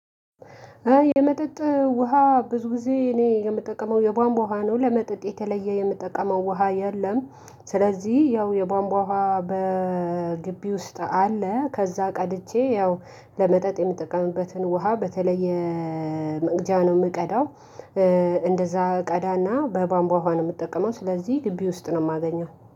የመጠጥ ውሃ ብዙ ጊዜ እኔ የምጠቀመው የቧንቧ ውሃ ነው ለመጠጥ የተለየ የምጠቀመው ውሃ የለም። ስለዚህ ያው የቧንቧ ውሃ በግቢ ውስጥ አለ። ከዛ ቀድቼ ያው ለመጠጥ የምጠቀምበትን ውሃ በተለየ መቅጃ ነው የምቀዳው። እንደዛ ቀዳና በባንቧ ውሃ ነው የምትጠቀመው ስለዚህ ግቢ ውስጥ ነው የማገኘው